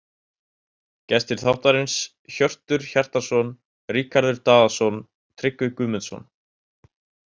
Gestir þáttarins: Hjörtur Hjartarson Ríkharður Daðason Tryggvi Guðmundsson